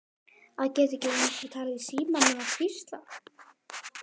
Að geta ekki einu sinni talað í símann nema hvísla.